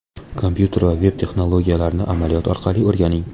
Kompyuter va veb-texnologiyalarini amaliyot orqali o‘rganing!